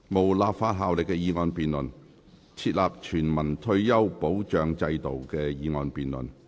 無立法效力的議案辯論。"設立全民退休保障制度"的議案辯論。